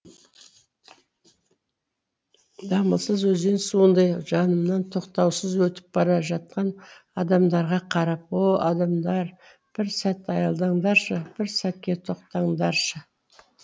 дамылсыз өзен суындай жанымнан тоқтаусыз өтіп бара жатқан адамдарға қарап о адамдар бір сәт аялдаңдаршы бір сәтке тоқтаңдаршы